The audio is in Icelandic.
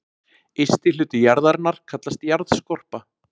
Ysti hluti jarðarinnar kallast jarðskorpa.